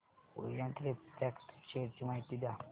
Orient refract share ची माहिती द्या